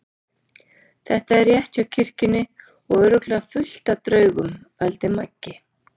Þetta er rétt hjá kirkjunni og örugglega fullt af draugum. vældi Magga.